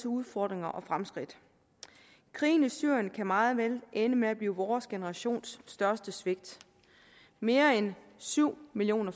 udfordringer og fremskridt krigen i syrien kan meget vel ende med at blive vores generations største svigt mere end syv millioner